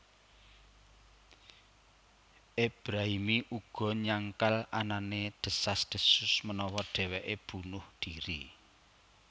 Ebrahimi uga nyangkal anané desas desus menawa dheweké bunuh dhiri